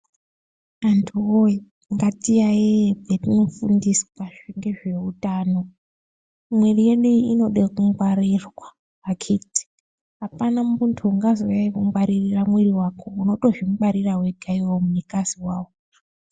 Antu woye ngatiyaiye paatinofundiswa nezvehutano mwiri yedu inoda kungwarirwa akiti apana muntu anozokungwarira mwiri wako unotoingwarira wega munhu kwazi.